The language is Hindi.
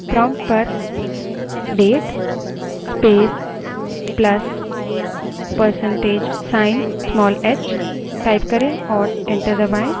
prompt पर date space plus percentage sign small h type करें और enter दबायें